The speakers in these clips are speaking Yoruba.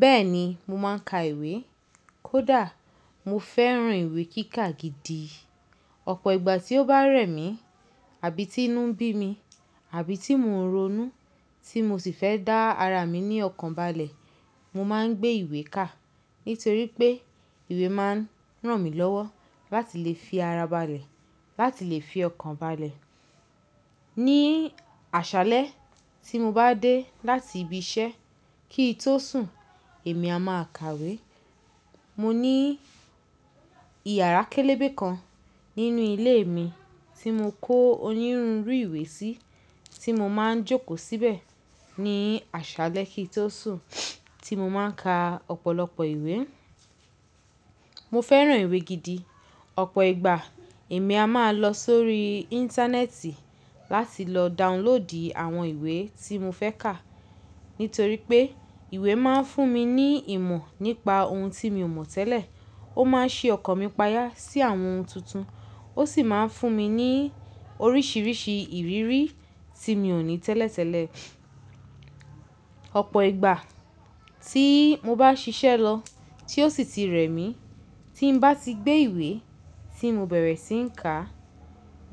Bẹ́ẹ̀ni, mo máa ń ka ìwé. Kódà mo fẹ́ràn ìwé kíká gidi. Ọ̀pọ̀ ìgbà tí ó bá rẹ̀ mí, àbí tí inú ń bí mi, àbí tí mò ń ronú tí mo sì fẹ́ dá ara mi ní ọkàn balẹ̀, mo máa ń gbé ìwé kà. Nítorí pé ìwé máa ń ràn mí lọ́wọ́ láti lè fi ara balẹ̀, láti lè fi ọkàn balẹ̀. Ní àṣálẹ̀ tí mo bá dé láti ibi-iṣẹ́ kí i tó sùn, èmi a máa kàwé. Mo ní iyàrá kélébé kan nínú ilé mi tí mo kó onírunrú ìwé sí tí mo máa ń jókòó síbẹ̀ ní àṣálẹ̀ kí i tó sùn, tí mo máa ń ka ọ̀pọ̀lọpọ̀ ìwé. Mo fẹ́ràn ìwé gidi. Ọ̀pọ̀ ìgbà, èmi a máa lọ sórí íńtánẹ́ẹ̀tì láti lọ dàuńlóòdì àwọn ìwé tí mo fẹ́ kà. Nítorí pé ìwé máa ń fún mi ní ìmọ̀ nípa ohun tí mio mọ̀ tẹ́lẹ̀, ó máa ń ṣí ọkàn mi payà sí àwọn ohun tuntun, ó sì máa ń fún mi ní oríṣiríṣi ìrírí tí mio ò ní tẹ́lẹ̀tẹ́lẹ̀. Ọ̀pọ̀ ìgbà tí mo bá ṣiṣẹ́ lọ tí ó sì tí rẹ̀ mí, tí n bá ti gbé ìwé tí mo bẹ̀rẹ̀ sí ń kà,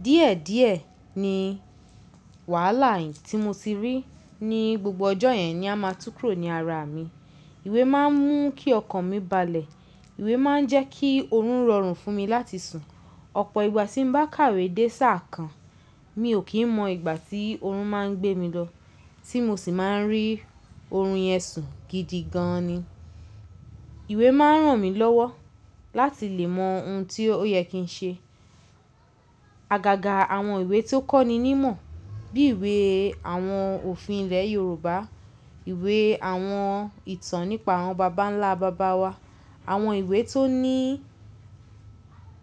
díẹ̀díẹ̀ ni wàhálà yín tí mo ti rí ní gbogbo ọjọ́ yẹn ni a máa tú kurò ní ara mi. Ìwé máa ń mú kí ọkàn mi balẹ̀, ìwé máa ń jẹ́ kí òórùn rọrùn fún mi láti sùn. Ọ̀pọ̀ ìgbà tí n bá kàwé dé sáà kan, mi ò kí ń mọ ìgbà tí òórùn máa ń gbé mi lọ, tí mo sì máa ń rí òórùn yẹn sùn gidi gan-an ni. Ìwé máa ń ràn mí lọ́wọ́ láti lè mọ ohun tí ó yẹ kí n ṣe. Agàgà àwọn ìwé tí ó kọ́ni ní mọ̀ bí ìwé àwọn òfin ilẹ̀ Yorùbá, ìwé àwọn ìtàn nípa àwọn baba ńlá bàbá wa, àwọn ìwé tó ní,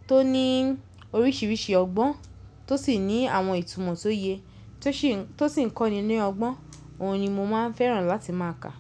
tó ní oríṣiríṣi ọgbọ́n tó sì ní àwọn ìtúmọ̀ tó yẹ, tó sì ń kọ́ni ní ọgbọ́n, òun ni mo máa ń fẹ́ràn láti máa kà.